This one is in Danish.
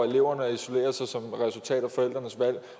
eleverne isolerer sig som et resultat af forældrenes valg